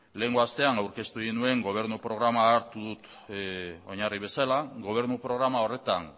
lehengo astean aurkeztu egin nuen gobernu programa hartu dut oinarri bezala gobernu programa horretan